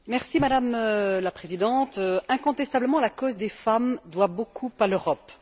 Madame la Présidente, incontestablement, la cause des femmes doit beaucoup à l'Europe.